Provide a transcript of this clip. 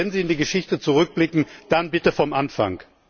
Also wenn Sie in die Geschichte zurückblicken, dann bitte vom Anfang!